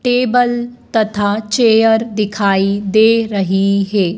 Table तथा chair दिखाई दे रही है।